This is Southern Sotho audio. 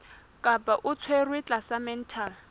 kapa o tshwerwe tlasa mental